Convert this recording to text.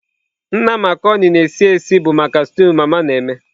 Nna Marconi na-esi esi bụ maka stew mama na-eme.